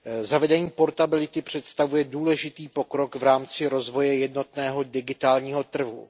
Zavedení portability představuje důležitý pokrok v rámci rozvoje jednotného digitálního trhu.